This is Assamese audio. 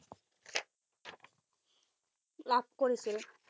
লাভ কৰিছিল।